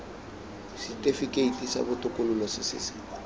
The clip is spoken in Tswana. setifikeiti sa botokololo se se